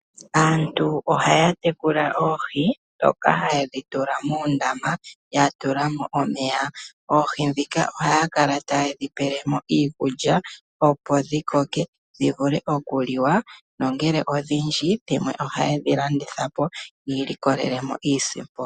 Aantu ohaya tekula oohi ndhoka haye dhi tula moondama ya tula mo omeya. Oohi ndhika ohaya kala taye dhi pele mo iikulya opo dhi koke dhi vule okuliwa. Nongele odhindji dhimwe ohaye dhi landitha po yi ilikolele iisimpo.